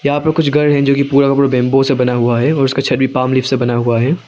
यहां पे कुछ घर हे जो कि पुरा का पुरा बेम्बो से बना हुआ है और उसका छत भी पाम लीफ से बना हुआ है।